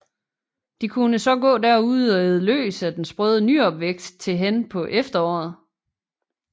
De kunne så gå derude og æde løs af den sprøde nyopvækst til hen på efteråret